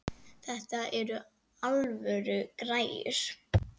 Þetta eru alvöru græjur.